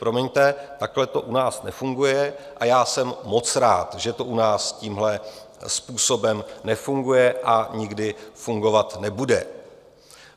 Promiňte, takto to u nás nefunguje, a já jsem moc rád, že to u nás tímhle způsobem nefunguje a nikdy fungovat nebude.